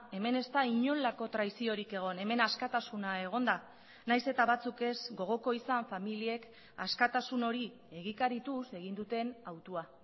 hemen ez da inolako traiziorik egon hemen askatasuna egon da nahiz eta batzuk ez gogoko izan familiek askatasun hori egikarituz egin duten hautua